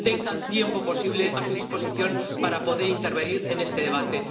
tengan tiempo posible a su disposición para poder intervenir en este debate.